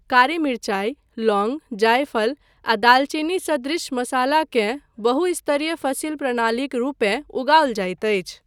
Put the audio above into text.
कारी मिरचाइ, लौंग, जायफल आ दालचीनी सदृश मसालाकेँ बहु स्तरीय फसिल प्रणालीक रूपेँ उगाओल जाइत अछि।